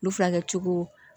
Ulu furakɛ cogo